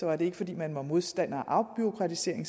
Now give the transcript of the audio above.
var det ikke fordi man var modstander af afbureaukratisering